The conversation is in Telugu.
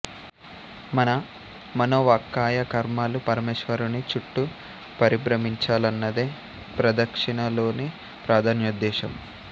మన మనోవాక్కాయ కర్మలు పరమేశ్వరుని చుట్టూ పరిభ్రమించాలన్నదే ప్రదక్షిణ లోని ప్రధానోద్దేశ్యం